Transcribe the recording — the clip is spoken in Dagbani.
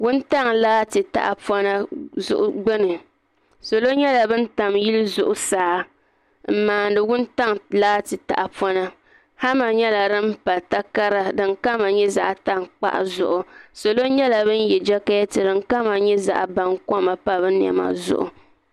Wuntaŋa laati tahapona gbini salo nyɛla ban tam yili zuɣusaa m maa ni wuntaŋa laati tahapona hama nyɛla di pa takara din kama nyɛ zaɣa tankpaɣu zuɣu salo nyɛla ban ye jaketi nima ka ti kama nyɛ bankoma m pa bɛ niɛma zuɣu.